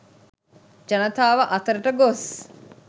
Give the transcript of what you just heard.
ජනතාව අතරට ගොස්